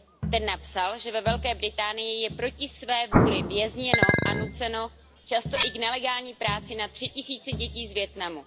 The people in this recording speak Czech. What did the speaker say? Ten napsal, že ve Velké Británii je proti své vůli vězněno a nuceno často i k nelegální práci na tři tisíce dětí z Vietnamu.